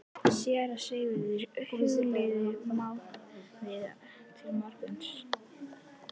SÉRA SIGURÐUR: Hugleiðum málið til morguns.